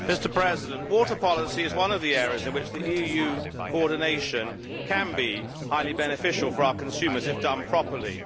Mr President, water policy is one of the areas in which EU coordination can be highly beneficial for our consumers if done properly.